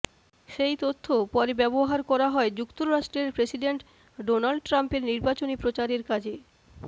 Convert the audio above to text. সেই তথ্য পরে ব্যবহার করা হয় যুক্তরাষ্ট্রের প্রেসিডেন্ট ডোনাল্ড ট্রাম্পের নির্বাচনী প্রচারের কাজে